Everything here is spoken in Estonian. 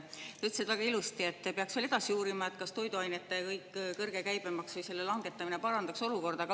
Sa ütlesid väga ilusti, et peaks veel edasi uurima, kas toiduainete kõrge käibemaksu langetamine parandaks olukorda.